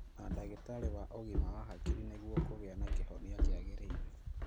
Na ndagĩtarĩ wa ũgima wa hakiri nĩguo kũgĩa na kĩhonia kĩagĩrĩire